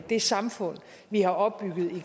det samfund vi har opbygget